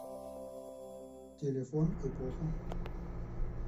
телефон эпоха